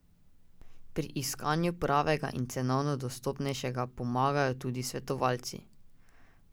Pri iskanju pravega in cenovno dostopnejšega pomagajo tudi svetovalci.